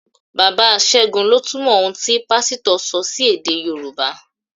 Bàbá ségun lọ túmọ̀ ohun tí Pásítọ̀ sọ sí èdè Yorùbá